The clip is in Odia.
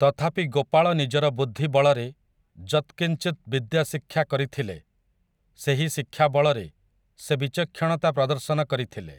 ତଥାପି ଗୋପାଳ ନିଜର ବୁଦ୍ଧି ବଳରେ ଯତ୍କିଞ୍ଚିତ୍ ବିଦ୍ୟା ଶିକ୍ଷା କରିଥିଲେ, ସେହି ଶିକ୍ଷା ବଳରେ ସେ ବିଚକ୍ଷଣତା ପ୍ରଦର୍ଶନ କରିଥିଲେ ।